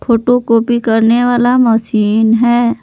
Photocopy करने वाली machine है।